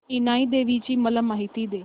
इनाई देवीची मला माहिती दे